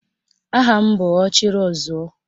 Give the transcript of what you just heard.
Aha m bụ Ọchịrịọzụọ